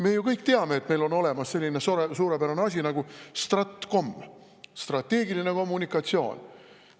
Me ju kõik teame, et meil on olemas selline suurepärane asi nagu stratkom, strateegiline kommunikatsioon.